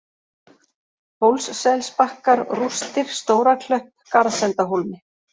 Hólsselsbakkar, Rústir, Stóraklöpp, Garðsendahólmi